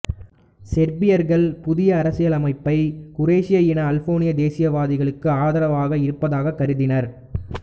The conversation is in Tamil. செர்பியர்கள் புதிய அரசியலமைப்பை குரோஷிய இன அல்பேனிய தேசியவாதிகளுக்கு ஆதரவாக இருப்பதாகக் கருதினர்